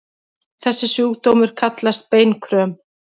Þessi sjúkdómur kallast beinkröm.